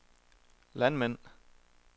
landmænd